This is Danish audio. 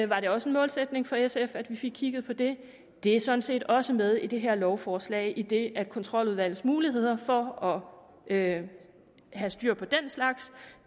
var det også en målsætning for sf at vi fik kigget på det det er sådan set også med i det her lovforslag idet kontroludvalgets muligheder for at have styr på den slags